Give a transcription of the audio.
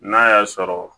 N'a y'a sɔrɔ